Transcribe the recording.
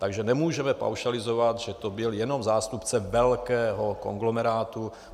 Takže nemůžeme paušalizovat, že to byl jenom zástupce velkého konglomerátu.